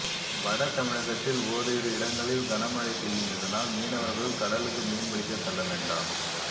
வடதமிழகத்தில் ஓரிரு இடங்களில் கனமழை பெய்யும் இதனால் மீனவர்கள் கடலுக்கு மீன்பிடிக்க செல்ல வேண்டாம்